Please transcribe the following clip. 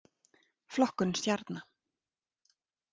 Flokkun stjarna.